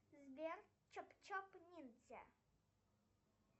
сбер чоп чоп ниндзя